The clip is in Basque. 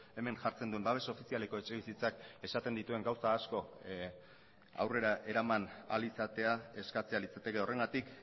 hemen jartzen duen babes ofizialeko etxebizitzak esaten dituen gauza asko aurrera eraman ahal izatea eskatzea litzateke horregatik